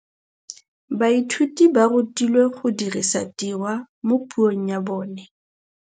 Baithuti ba rutilwe go dirisa tirwa mo puong ya bone.